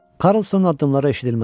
Karlsonun addımları eşidilməz oldu.